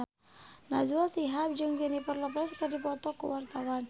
Najwa Shihab jeung Jennifer Lopez keur dipoto ku wartawan